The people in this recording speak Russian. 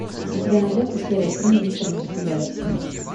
у тебя найдется серия три мистер мерседес